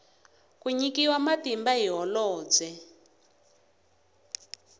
ku nyikiwa matimba hi holobye